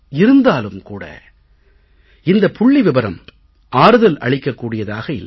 இருந்தாலும் கூட இந்தப் புள்ளிவிபரம் ஆறுதல் அளிக்கக் கூடியதாக இல்லை